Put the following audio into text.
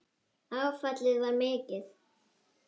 Áfallið var mikið.